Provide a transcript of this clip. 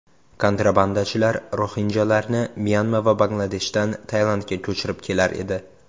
Kontrabandachilar roxinjalarni Myanma va Bangladeshdan Tailandga ko‘chirib kelar edi.